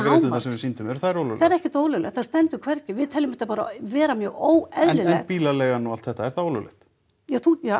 sýndum það er ekkert ólöglegt það stendur hvergi við teljum þetta bara vera mjög óeðlilegt bílaleigan og allt þetta er það ólöglegt ja þú já